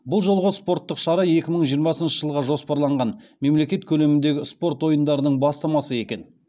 бұл жолғы спорттық шара екі мың жиырмасыншы жылға жоспарланған мемлекет көлеміндегі спорт ойындарының бастамасы екен